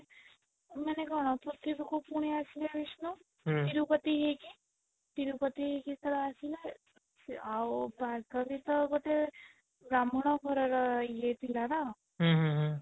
ମାନେ କଣ ପୃଥିବୀ କୁ ପୁଣି ଆସିଲେ ବିଷ୍ଣୁ ତିରୁପତି ହେଇକି ତିରୁପତି ହେଇକି ଯେତେବେଳେ ଆସିଲେ ସେ ଆଉ ଭାର୍ଗବୀ ତ ଗୋଟେ ବ୍ରାହ୍ମଣ ଘର ର ଇଏ ଥିଲା ନା ହୁଁ ହୁଁ ହୁଁ